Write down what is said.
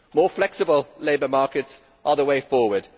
More flexible labour markets are the way forward.